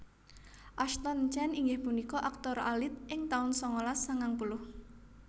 Ashton Chen inggih punika aktor alit ing taun sangalas sangang puluh